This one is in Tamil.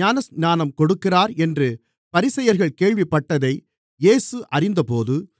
ஞானஸ்நானம் கொடுக்கிறார் என்று பரிசேயர்கள் கேள்விப்பட்டதை இயேசு அறிந்தபோது